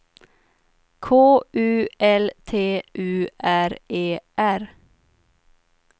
K U L T U R E R